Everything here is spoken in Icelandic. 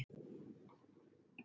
Þar staldrar hún aðeins við.